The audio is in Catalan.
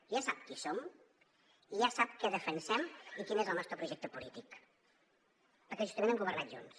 ja sap qui som i ja sap què defensem i quin és el nostre projecte polític perquè justament hem governat junts